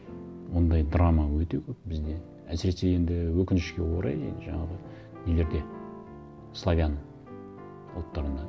ондай драма өте көп бізде әсіресе енді өкінішке орай жаңағы нелерде славян ұлттарында